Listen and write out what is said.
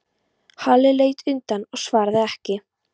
Halli leit undan og svaraði ekki.